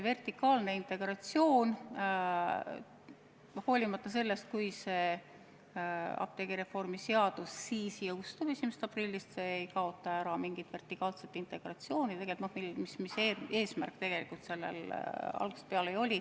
Vertikaalse integratsiooni kohta ütlen, et isegi kui see apteegireformi seadus 1. aprillil käivitub, siis see vertikaalset integratsiooni ära ei kaota.